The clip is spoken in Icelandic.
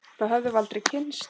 Þá hefðum við aldrei kynnst